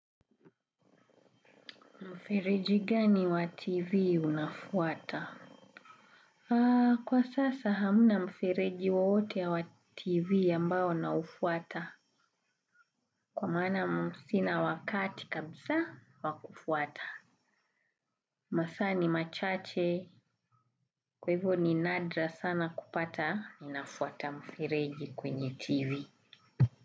Mfireji gani wa TV unafuata? Kwa sasa hamna mfereji wowote wa TV ambao naufuata kwa maana sina wakati kabisa wa kufuata masaa ni machache kwaivo ni nadra sana kupata ninafuata mfereji kwenye TV.